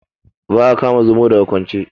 Ba a kama Zomo daga kwance.